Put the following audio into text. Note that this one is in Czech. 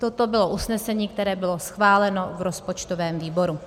Toto bylo usnesení, které bylo schváleno v rozpočtovém výboru.